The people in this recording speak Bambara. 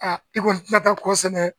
i kɔni tina kɔ sɛnɛ.